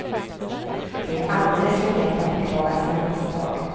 Det är alldeles för lätt att beklaga sina misstag.